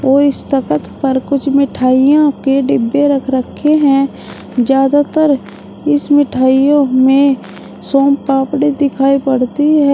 इस तखत पर कुछ मिठाइयां के डिब्बे रख रखे हैं ज्यादातर इस मिठाइयों में शामपापड़ी दिखाई पड़ती है।